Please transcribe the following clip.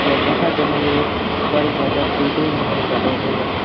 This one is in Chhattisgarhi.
यहाँ जगह - जगह में बड़ ज्यादा बिल्डिंग मन ह बने हे।